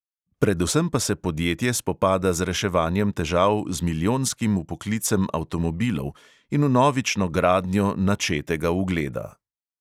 Predvsem pa se podjetje spopada z reševanjem težav z milijonskim vpoklicem avtomobilov in vnovično gradnjo načetega ugleda.